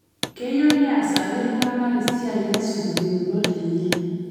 Keyieu neesaki ltung'ana esiai nesuj yueunot enye